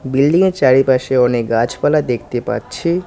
বিল্ডিংয়ের চারিপাশে অনেক গাছপালা দেখতে পাচ্ছি।